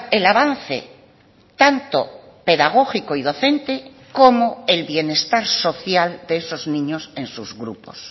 el avance tanto pedagógico y docente como el bienestar social de esos niños en sus grupos